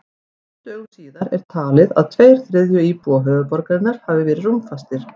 Fimm dögum síðar er talið að tveir þriðju íbúa höfuðborgarinnar hafi verið rúmfastir.